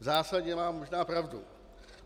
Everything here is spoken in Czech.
V zásadě má možná pravdu.